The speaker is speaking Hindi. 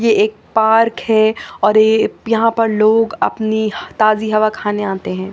ये एक पार्क है और ये यहां पर लोग अपनी ताजी हवा खाने आते हैं।